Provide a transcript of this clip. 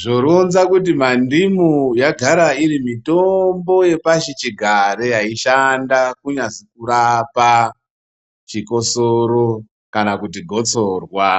Zvoronza kuti mandimu yagara iri mitombo yapashi chigare yaishanda kunyazi kurapa chikosoro kana kuti gotsorwa.